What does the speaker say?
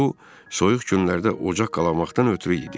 Bu soyuq günlərdə ocaq qalamaqdan ötrü idi.